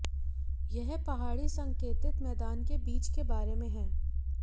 यह पहाड़ी संकेतित मैदान के बीच के बारे में है